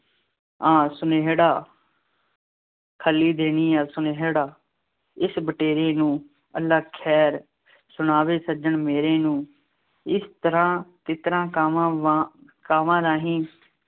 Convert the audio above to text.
ਆਂ ਸੁਨੇਹੜਾ ਖਲੀ ਦੇਨੀ ਆਂ ਸੁਨੇਹੜਾ ਇਸ ਬਟੇਰੇ ਨੂੰ ਅੱਲ੍ਹਾ ਖੈਰ, ਸੁਣਾਵੇ ਸੱਜਣ ਮੇਰੇ ਨੂੰ, ਇਸ ਤਰ੍ਹਾਂ ਤਿੱਤਰਾਂ, ਕਾਵਾਂ, ਵਾਂਗ, ਕਾਂਵਾਂ ਰਾਂਹੀ